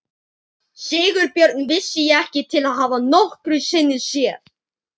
Sigurbjörn vissi ég ekki til að hafa nokkru sinni séð.